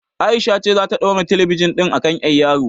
Aisha ce zata ɗaura talabijin ɗin a kan ƴar yawo